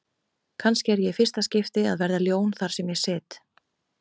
Kannski er ég í fyrsta skipti að verða ljón þar sem ég sit.